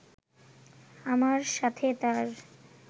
আমার সাথে তার